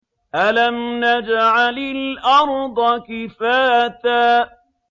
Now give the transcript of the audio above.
أَلَمْ نَجْعَلِ الْأَرْضَ كِفَاتًا